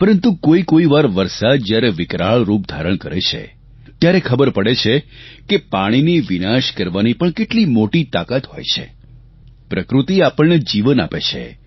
પરંતુ કોઇકોઇ વાર વરસાદ જ્યારે વિકરાળ રૂપ ધારણ કરે છે ત્યારે ખબર પડે છે કે પાણીની વિનાશ કરવાની પણ કેટલી મોટી તાકાત હોય છે પ્રકૃતિ આપણને જીવન આપે છે